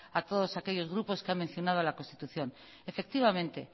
a todos aquellos grupos que han mencionado a la constitución efectivamente